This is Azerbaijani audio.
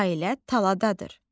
Ailə taladadır.